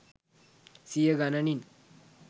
සිය ගණනින්.